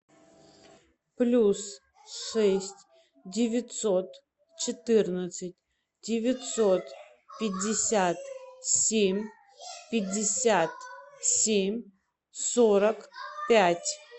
плюс шесть девятьсот четырнадцать девятьсот пятьдесят семь пятьдесят семь сорок пять